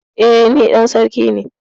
E, ni dan sarki ne.